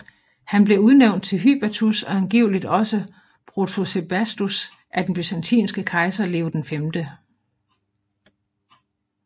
Han blev udnævnt til hypatus og angiveligt også protosebastus af den byzantinske kejser Leo 5